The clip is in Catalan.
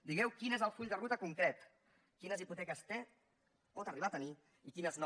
digueu quin és el full de ruta concret quines hipoteques té o pot arribar a tenir i quines no